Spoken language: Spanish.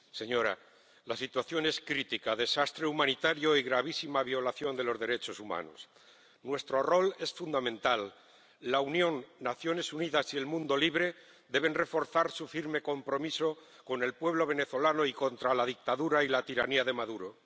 Señora presidenta, señora alta representante, la situación es crítica desastre humanitario y gravísima violación de los derechos humanos. Nuestro rol es fundamental. La Unión, las Naciones Unidas y el mundo libre deben reforzar su firme compromiso con el pueblo venezolano y contra la dictadura y la tiranía de Maduro.